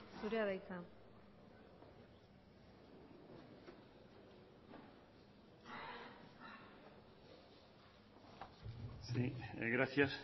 zurea da hitza gracias